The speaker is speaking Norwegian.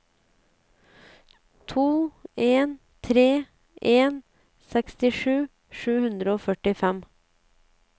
to en tre en sekstisju sju hundre og førtifem